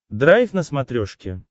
драйв на смотрешке